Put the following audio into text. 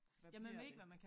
Hvad bliver det